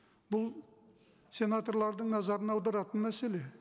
бұл сенаторлардың назарын аударатын мәселе